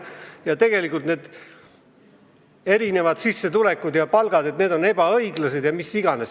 Räägiti, et erinevad palgad on ebaõiglased, ja mis iganes.